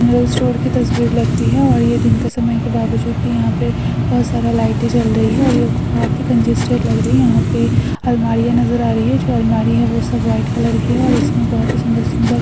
general store की तसवीर लगती हैं और ये दिन के समय के बावजूद भी यहाँ पे बहोत सारा लाइटे जल रही हैं और काफी कंजेस्टेड लग रही हैं यहाँ पे अलमारियाँ नज़र आ रही हैं जो अलमारी हैं वो सब वाईट कलर की हैं और इसमें बहोत सुन्दर सुन्दर--